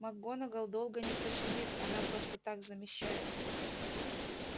макгонагалл долго не просидит она просто так замещает